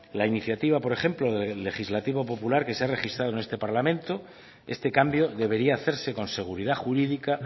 la iniciativa por ejemplo legislativo popular que se ha registrado en este parlamento este cambio debería hacerse con seguridad jurídica